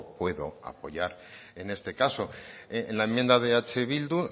puedo apoyar en este caso en la enmienda de eh bildu